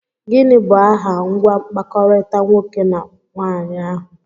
Gịnị bụ aha ngwa mkpakọrịta nwoke na nwaanyị ahụ?